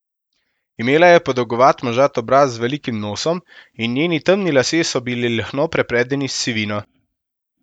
Imela je podolgovat, možat obraz z velikim nosom in njeni temni lasje so bili lahno prepredeni s sivino.